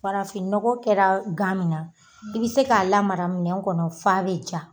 Farafinnɔgɔ kɛra gan min na, i bɛ se k'a lamara minɛn kɔnɔ f'a bɛ ja.